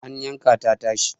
an yanka ta tashi